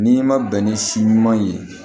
N'i ma bɛn ni si ɲuman ye